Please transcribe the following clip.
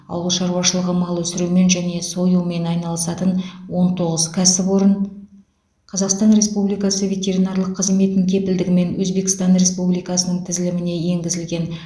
ауыл шаруашылығы мал өсірумен және союмен айналысатын он тоғыз кәсіпорын қазақстан республикасы ветеринарлық қызметінің кепілдігімен өзбекстан республикасының тізіліміне енгізілген